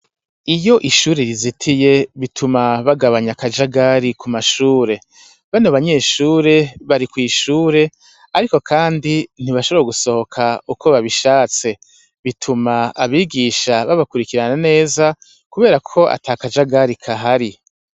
Iyo ishure rizitiye bituma bagabanya akajagari ku mashure bano banyeshure bari kw'ishure, ariko, kandi ntibashobora gusohoka uko babishatse bituma abigisha babakurikirana neza, kubera ko ata kajagari kahari